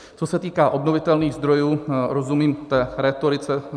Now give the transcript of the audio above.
Co se týku obnovitelných zdrojů, rozumím té rétorice.